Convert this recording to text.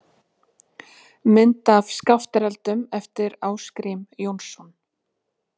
Mynd af Skaftáreldum eftir Ásgrím Jónsson.